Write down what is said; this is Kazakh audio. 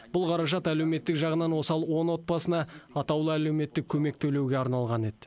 бұл қаражат әлеуметтік жағынан осал он отбасына атаулы әлеуметтік көмек төлеуге арналған еді